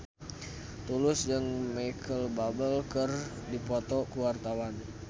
Tulus jeung Micheal Bubble keur dipoto ku wartawan